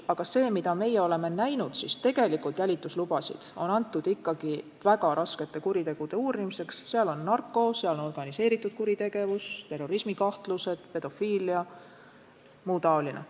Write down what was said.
Aga meie oleme näinud, et tegelikult on jälituslubasid ikkagi antud väga raskete kuritegude uurimiseks: seal on narkokaubandus, seal on organiseeritud kuritegevus, terrorismikahtlused, pedofiilia – muu taoline.